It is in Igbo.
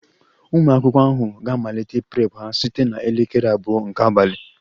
Ụmụ akwụkwọ ahụ ga-amalite Prep ha site na elekere abụọ nke abalị